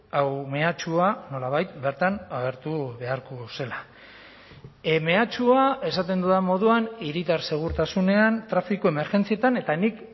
hau mehatxua nolabait bertan agertu beharko zela mehatxua esaten dudan moduan hiritar segurtasunean trafiko emergentzietan eta nik